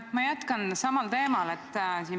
Ma jätkan samal teemal.